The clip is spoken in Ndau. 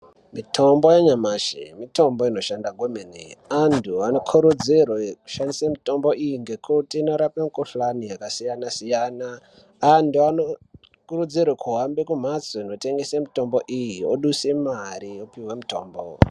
Mitombo yanyamashi mitombo inoshanda kwemene antu anokurudzirwe kushandise mitombo iyi ngekuti inorape mikhuhlani yakasiyana siyana antu anokurudzirwe kuhambe kumhatso inotengese mitombo iyi oduse mare opihwe mitombo.